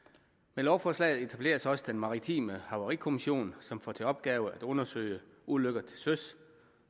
med lovforslaget etableres også den maritime havarikommission som får til opgave at undersøge ulykker til søs